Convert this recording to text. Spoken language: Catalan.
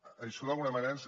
això d’alguna manera